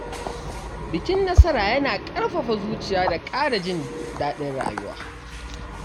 Bikin nasara yana ƙarfafa zuciya da ƙara jin daɗin rayuwa.